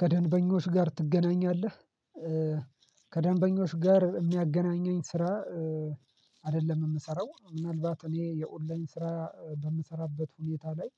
ከደንበኞች ጋር ትገናኛለህ? ከደንበኞች ጋር የሚያገናኘኝ ስራ አይደለም የምሰራው ምናልባት እኔ የኦንላይን ስራ በምሰራበት ሁኔታ ላይ